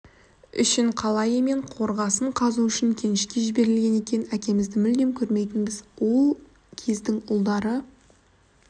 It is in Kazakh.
үшін қалайы мен қорғасын қазу үшін кенішке жіберілген екен әкемізді мүлдем көрмейтінбіз ол кездің ұлдары